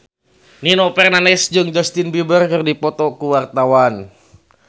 Nino Fernandez jeung Justin Beiber keur dipoto ku wartawan